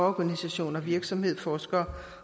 organisationer virksomheder forskere